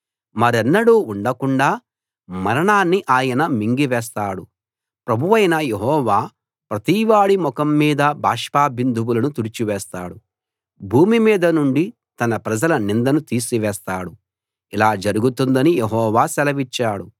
మరెన్నడు ఉండకుండా మరణాన్ని ఆయన మింగి వేస్తాడు ప్రభువైన యెహోవా ప్రతివాడి ముఖం మీది బాష్ప బిందువులను తుడిచివేస్తాడు భూమి మీద నుండి తన ప్రజల నిందను తీసివేస్తాడు ఇలా జరుగుతుందని యెహోవా సెలవిచ్చాడు